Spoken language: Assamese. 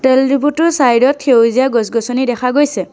তেল ডিপোটোৰ চাইড ত সেউজীয়া গছ-গছনি দেখা গৈছে।